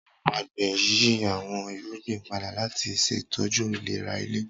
Awọn agbẹ n yi awọn irugbin pada lati ṣetọju ilera ile.